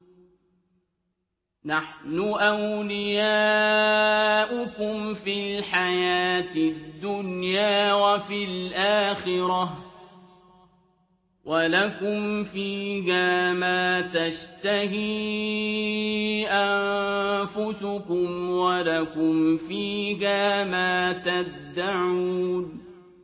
نَحْنُ أَوْلِيَاؤُكُمْ فِي الْحَيَاةِ الدُّنْيَا وَفِي الْآخِرَةِ ۖ وَلَكُمْ فِيهَا مَا تَشْتَهِي أَنفُسُكُمْ وَلَكُمْ فِيهَا مَا تَدَّعُونَ